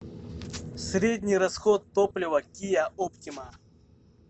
средний расход топлива киа оптима